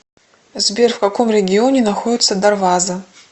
сбер в каком регионе находится дарваза